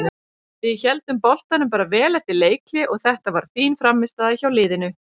Við héldum boltanum bara vel eftir leikhlé og þetta var fín frammistaða hjá liðinu.